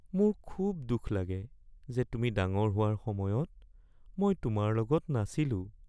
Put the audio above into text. মোৰ খুব দুখ লাগে যে তুমি ডাঙৰ হোৱাৰ সময়ত মই তোমাৰ লগত নাছিলোঁ (দেউতাক)